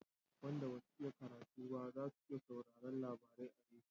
Wanda basu iya karatu ba za su iya sauraran labari a rediyo